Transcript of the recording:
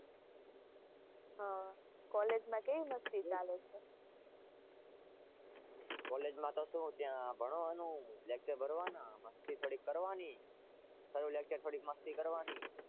કોલેજમાં કેવી મસ્તી ચાલે છે?